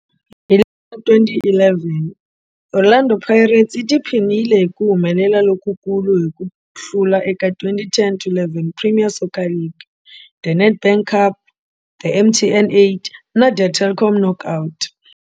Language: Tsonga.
Hi ra 2011, Orlando Pirates yi tiphinile hi ku humelela lokukulu hi ku hlula eka 2010 to 11 Premier Soccer League, The Nedbank Cup, The MTN 8 Cup na The Telkom Knockout.